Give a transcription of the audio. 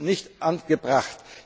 Nein! Das ist nicht angebracht!